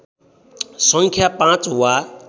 सङ्ख्या पाँच वा